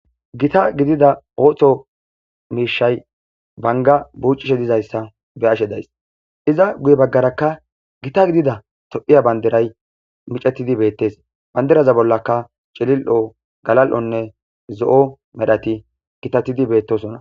gita gidida ooththo miishay banga buucishe dizayssa be ashe days iza guye baggarakka gita gidida to7iya banderay micatidi beettes banderaza bollaka celil7o galal7onne zo7o medhati kitatidi beettosona